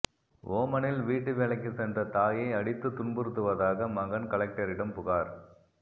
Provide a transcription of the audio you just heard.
ஓமனில் வீட்டு வேலைக்கு சென்ற தாயை அடித்து துன்புறுத்துவதாக மகன் கலெக்டரிடம் புகார்